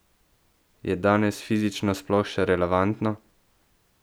Je danes fizično sploh še relevantno?